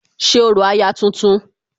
ṣe orò aya tuntun